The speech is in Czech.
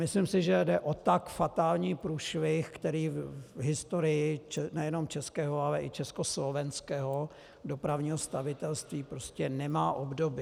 Myslím si, že jde o tak fatální průšvih, který v historii nejenom českého, ale i československého dopravního stavitelství prostě nemá obdoby.